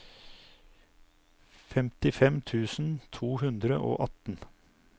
femtifem tusen to hundre og atten